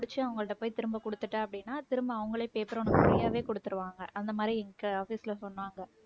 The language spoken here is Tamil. முடிச்சு அவங்கள்ட்ட போய் திரும்ப குடுத்துட்டேன் அப்படின்னா திரும்ப அவங்களே paper ஒண்ணு free ஆவே குடுத்துருவாங்க அந்த மாதிரி எங்க office ல சொன்னாங்க